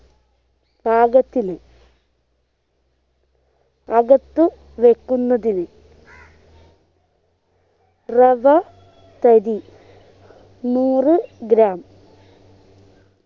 പാകത്തിന് അകത്തു വെക്കുന്നതിനു റവ തരി നൂറു gram